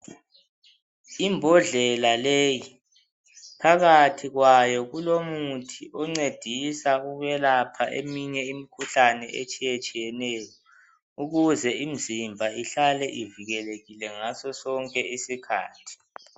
Imbodlela leyi phakathi kwayo kulomuthi oncedisa ukwelapha eminye imikhuhlane etshiye tshiyeneyo ukuze imizimba ihlale ivikelekile ngaso sonke isikhathi.